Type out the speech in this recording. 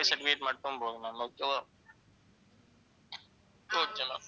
certificate மட்டும் போதும் ma'am okay வா okay ma'am